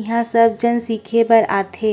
इहाँ सब जन सीखे भर आथे --